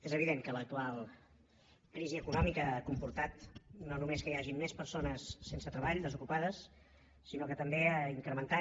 és evident que l’actual crisi econòmica ha comportat no només que hi hagi més persones sense treball desocupades sinó que també ha incrementat